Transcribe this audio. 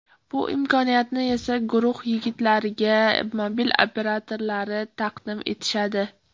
Bu imkoniyatni esa guruh yigitlariga mobil operatorlari taqdim etishadi.